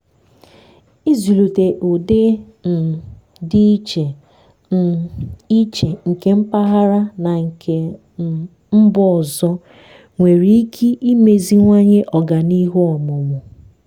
ịzụlite ụdị um dị iche um iche nke mpaghara na nke um mba ọzọ nwere ike imeziwanye ọganihu ọmụmụ.